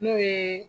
N'o ye